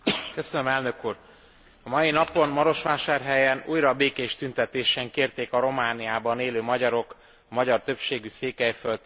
A mai napon Marosvásárhelyen újra békés tüntetésen kérték a Romániában élő magyarok a magyar többségű Székelyföld területi autonómiáját.